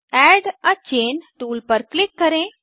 add a chain tool पर click करें